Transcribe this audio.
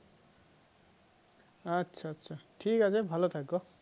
আচ্ছা আচ্ছা আচ্ছা তো ঠিক আছে ভালো থেকো